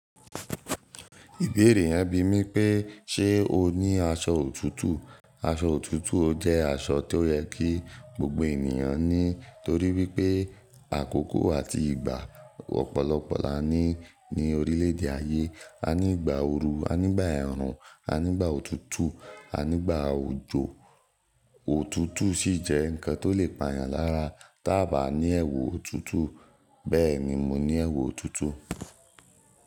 Ìbéèrè yẹn bi mí pé ṣe o ní aṣọ òtútù? Aṣọ òtútù ó jẹ́ aṣọ tó yẹ kí gbogbo ènìyàn ní torí wípé àkókò àti ìgbà ọ̀pọ̀lọpọ̀ la ní ní orílẹ̀ èdè ayé. A ní ìgbà ooru, a ní ìgbà ẹ̀rùn, a ní ìgbà òtútù, a ní ìgbà òjò. Òtútù sì jẹ́ ǹkan tó lè pàyàn lára tá a bá ní ẹwù òtútù. Bẹ́ẹ̀ni mo ní ẹrù òtútù.